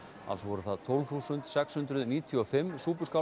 alls voru það tólf þúsund sex hundruð níutíu og fimm